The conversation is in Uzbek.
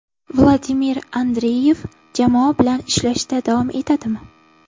Vladimir Andreyev jamoa bilan ishlashda davom etadimi?